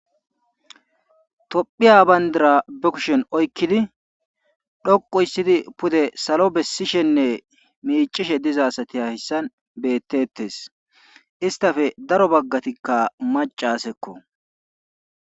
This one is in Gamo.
Tophiya bandia ba kushen oykkidi dhoqu histidi pude salo besishene miiccishe diza asati hayssan beetetees. Istappe daro bagati maccasakko